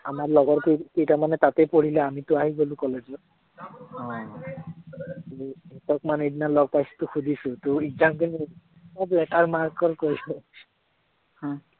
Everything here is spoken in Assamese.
আমাৰ লগৰকেই কেইটামানে তাতে পঢ়িলে আমিতো আহি গলো college ত তাক মানে সেইদিনা লগ পাইছিলো, সুধিছো তোৰ exam কেনে হল, আহ বোলে latter mark ৰ কয়।